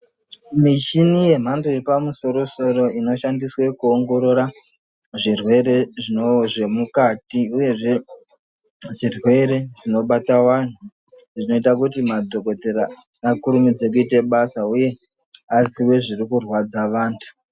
Mishini yemhando yepamusorosoro inoshandiswe kuongorora zvirwere zvemukati uyezve zvirwere zvinobata vantu zvinoita kuti madhokdheya vakurumidze kuite basa uye aziye zviri kurwadza vantu.